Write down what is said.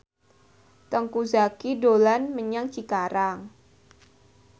Teuku Zacky dolan menyang Cikarang